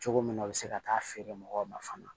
Cogo min na u bɛ se ka taa feere mɔgɔw ma fana